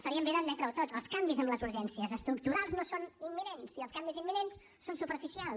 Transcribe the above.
faríem bé d’admetre ho tots els canvis en les urgències estructurals no són imminents i els canvis imminents són superficials